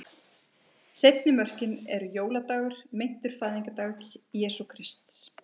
Seinni mörkin eru jóladagur, meintur fæðingardagur Jesú Krists.